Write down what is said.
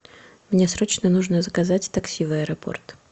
мне срочно нужно заказать такси в аэропорт